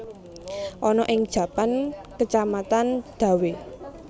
Ana ing Japan Kacamatan Dawe